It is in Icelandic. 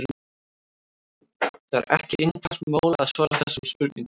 Það er ekki einfalt mál að svara þessum spurningum.